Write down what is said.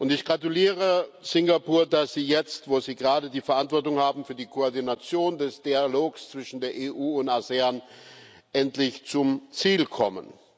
Ich gratuliere Singapur, dass sie jetzt, wo sie gerade die Verantwortung für die Koordination des Dialogs zwischen der EU und ASEAN haben, endlich zum Ziel kommen.